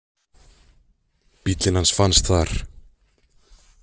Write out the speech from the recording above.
Bíllinn hans fannst þar.